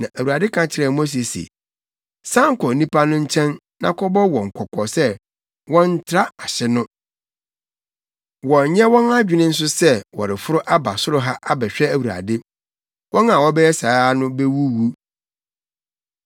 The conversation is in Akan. na Awurade ka kyerɛɛ Mose se, “San kɔ nnipa no nkyɛn na kɔbɔ wɔn kɔkɔ sɛ wɔnntra ahye no. Wɔnnyɛ wɔn adwene nso sɛ wɔreforo aba soro ha abɛhwɛ Awurade. Wɔn a wɔbɛyɛ saa no bewuwu.